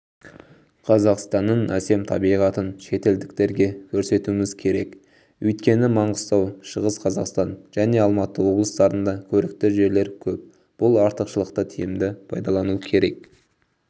қазақстанның әсем табиғатын шетелдіктерге көрсетуіміз керек өйткені маңғыстау шығыс қазақстан және алматы облыстарында көрікті жерлер көп бұл артықшылықты тиімді пайдалану керек